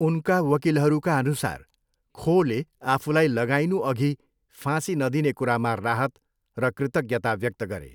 उनका वकिलहरूका अनुसार खोले आफूलाई लगाइनुअघि फाँसी नदिने कुरामा राहत र कृतज्ञता व्यक्त गरे।